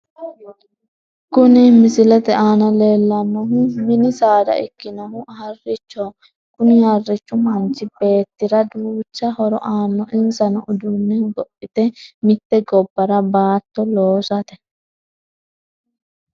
Kuni misilete aana leellannohu mini saada ikkinohu harrichoho kuni harrichu manchi beettira duucha horo aano insano uduunne hogophate mite gobbara baatto loosate.